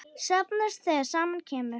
Safnast þegar saman kemur.